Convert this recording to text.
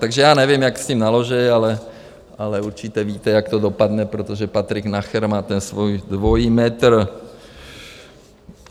Takže já nevím, jak s tím naloží, ale určitě víte, jak to dopadne, protože Patrik Nacher má ten svůj dvojí metr.